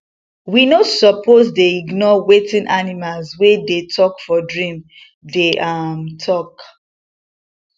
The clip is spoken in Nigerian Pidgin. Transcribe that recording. we no suppose dey ignore wetin animals wey dey talk for dream dey um talk